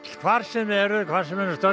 hvar sem þið eruð stödd